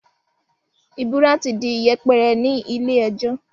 ìbúra ti di yẹpẹrẹ ní ilé ẹjọ́.